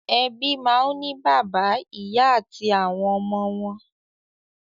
Ẹbí náà ń ní bàbá, ìyà àti àwọn ọmọ wọn.